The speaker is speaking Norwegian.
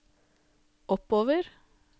oppover